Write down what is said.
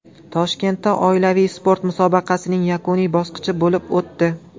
Toshkentda oilaviy sport musobaqasining yakuniy bosqichi bo‘lib o‘tdi.